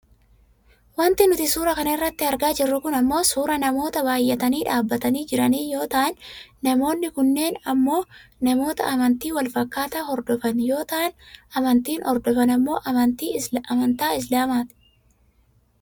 Wanti nuti suuraa kana irratti argaa jirru kun ammoo suuraa namoota baayyatanii dhaabbatanii jiranii yoo ta'an namoonni kunneen ammoo namoota amantii wal fakkaataa hordofan yoo ta'an amantiin hordofan ammoo amantaa islaamaati.